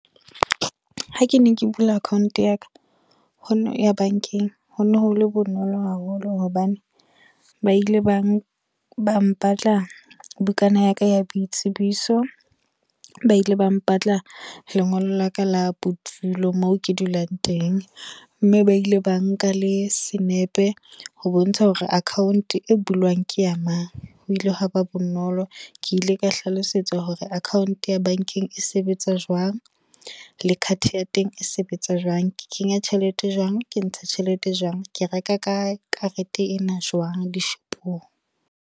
Ha ke ne ke bula account ya ka. Ho no ya bankeng. Ho no hole bonolo haholo hobane, ba ile ba ba mpatla bukana ya ka ya boitsebiso. Ba ile ba mpatla lengolo la ka la bodulo, moo ke dulang teng. Mme ba ile ba nka le senepe. Ho bontsha hore account e bulwang ke ya mang, ho ile ha ba bonolo. Ke ile ka hlalosetsa hore account ya bankeng e sebetsa jwang. Le card ya teng e sebetsa jwang. Ke kenya tjhelete Jwang, ke ntsha tjhelete e jwang. Ke reka ka karete ena jwang, dishopong.